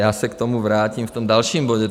Já se k tomu vrátím v tom dalším bodě.